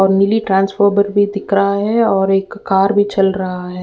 और नीली भी दिख रहा है और एक कार भी चल रहा है।